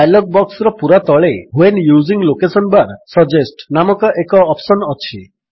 dialog ବକ୍ସର ପୂରା ତଳେ when using location bar suggest ନାମକ ଏକ ଅପ୍ସନ୍ ଅଛି